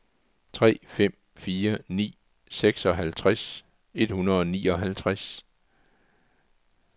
tre fem fire ni seksoghalvtreds et hundrede og nioghalvtreds